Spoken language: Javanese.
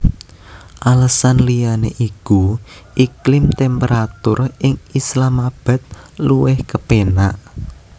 Alesan liyané iku iklim temperatur ing Islamabad luwih kepénak